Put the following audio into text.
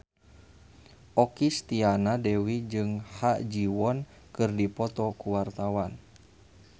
Okky Setiana Dewi jeung Ha Ji Won keur dipoto ku wartawan